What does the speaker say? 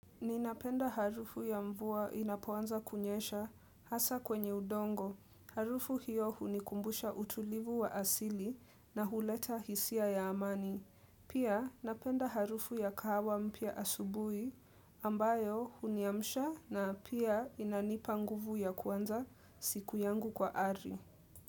Ninapenda harufu ya mvua inapoanza kunyesha hasa kwenye udongo. Harufu hiyo hunikumbusha utulivu wa asili na huleta hisia ya amani. Pia napenda harufu ya kahawa mpia asubui ambayo huniamsha na pia inanipa nguvu ya kwanza siku yangu kwa ari.